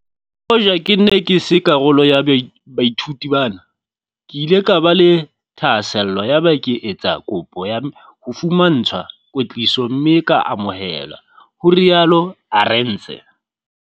"Le hoja ke ne ke se karolo ya baithuti bana, ke ile ka ba le thahasello yaba ke etsa kopo ya ho fumantshwa kwetliso mme ka amohelwa," ho rialo Arendse.